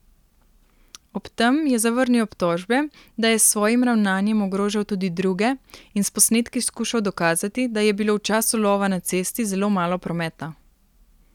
Ob tem je zavrnil obtožbe, da je s svojim ravnanjem ogrožal tudi druge in s posnetki skušal dokazati, da je bilo v času lova na cesti zelo malo prometa.